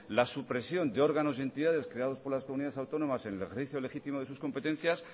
la supresión de órganos y entidades creados por las comunidades autónomas en el ejercicio legítimo de sus competencias